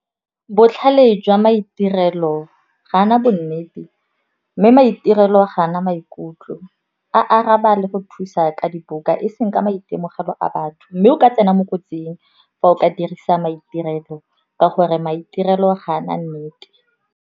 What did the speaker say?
Botlhale jwa maitirelo ga a na bonnete mme maitirelo gana maikutlo, a araba le go thusa ka dibuka eseng ka maitemogelo a batho. Mme o ka tsena mo kotsing fa o ka dirisa maitirelo ka gore maitirelo ga a na nnete.